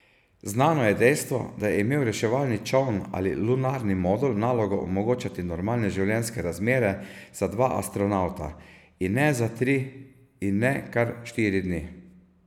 Znano je dejstvo, da je imel reševalni čoln ali lunarni modul nalogo omogočati normalne življenjske razmere za dva astronavta, in ne za tri in ne kar štiri dni.